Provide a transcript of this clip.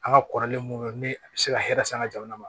An ka kɔrɔlen mun be yen ni a be se ka hɛrɛ san an ga jamana ma